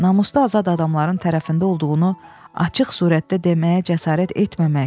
Namusda azad adamların tərəfində olduğunu açıq surətdə deməyə cəsarət etməmək.